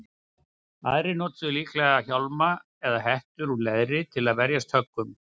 Aðrir notuðu líklega hjálma eða hettur úr leðri til að verjast höggum.